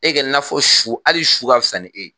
E kɛrɛ n'a fɔ su hali su ka fisa ni e.